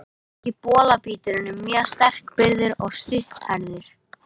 Ameríski bolabíturinn er mjög sterkbyggður og stutthærður.